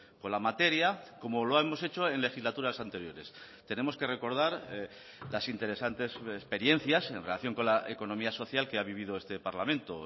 con la materia como lo hemos hecho en legislaturas anteriores tenemos que recordar las interesantes experiencias en relación con la economía social que ha vivido este parlamento